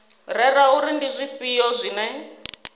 rere uri ndi zwifhio zwine